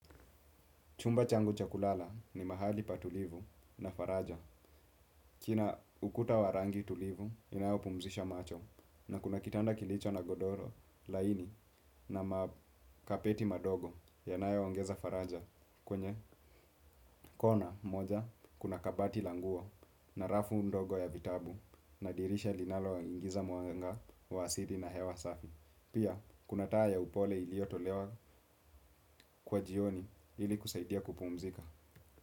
Chumba changu cha kulala ni mahali patulivu na faraja. Kina ukuta wa rangi tulivu inayo pumzisha macho na kuna kitanda kilicho na godoro laini na makapeti madogo yanayo ongeza faraja kwenye kona moja kuna kabati la nguo na rafu ndogo ya vitabu na dirisha linalo ingiza mwanga wa asili na hewa safi. Pia kuna taa ya upole iliyo tolewa kwa jioni ili kusaidia kupumzika.